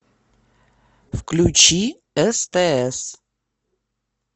включи стс